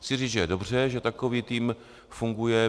Chci říct, že je dobře, že takový tým funguje.